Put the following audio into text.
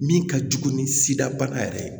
Min ka jugu ni sidaba yɛrɛ ye